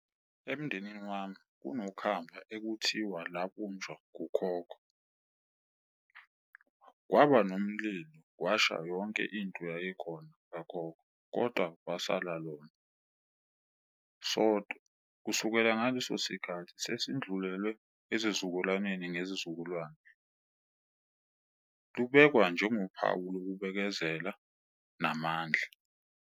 Emndenini wami kunokhamba ekuthiwa labunjwa ukhokho. Kwaba nomlilo kwasha yonke into yayikhona kakhokho kodwa kwasala lona sodwa. Kusukela ngaleso sikhathi sesindlulele ezizukulwaneni ngezizukulwane, lubekwa njengophawu lokubekezela namandla.